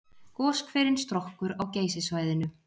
Goshverinn Strokkur á Geysissvæðinu.